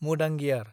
मुदांगियार